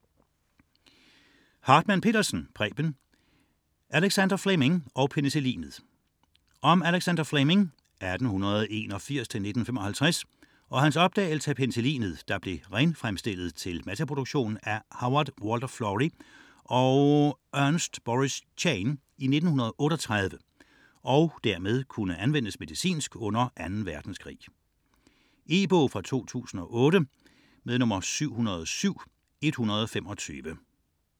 99.4 Fleming, Alexander Hartmann-Petersen, Preben: Alexander Fleming og penicillinet Om Alexander Fleming (1881-1955) og hans opdagelse af penicillinet, der blev renfremstillet til masseproduktion af Howard Walter Florey og Ernst Boris Chain i 1938, og dermed kunne anvendes medicinsk under 2. verdenskrig. E-bog 707125 2008.